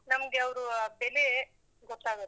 ನಮ್ಗೆ ಅವ್ರು ಬೆಲೆ ಗೊತ್ತಾಗೋದು.